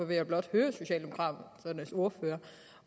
vil jeg blot høre socialdemokraternes ordfører